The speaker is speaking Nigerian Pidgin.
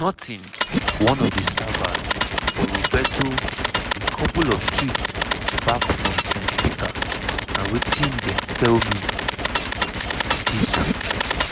"nothing" one of di servers for roberto a couple of streets back from st peter na wetin dem tell me dis week.